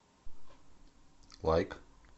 лайк